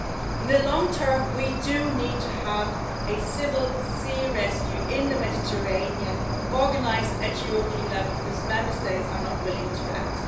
In the long term, we do need to have a civil sea rescue in the Mediterranean organised at European level because Member States are not willing to act.